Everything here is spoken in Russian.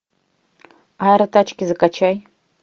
аэротачки закачай